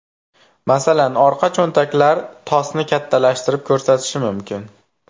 Masalan orqa cho‘ntaklar tosni kattalashtirib ko‘rsatishi mumkin.